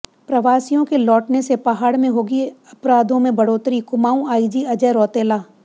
प्रवासियों के लौटने से पहाड़ में होगी अपराधों में बढ़ोतरीः कुमाऊं आईजी अजय रौतेला